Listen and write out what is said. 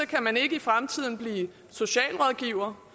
kan man ikke i fremtiden bliver socialrådgiver